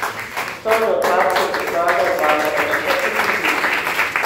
Kosovne odpadke bo Snaga odvažala v četrtek in petek.